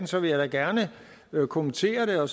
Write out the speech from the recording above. så vil jeg da gerne kommentere